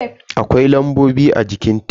Akwai lambobi a jikin tef.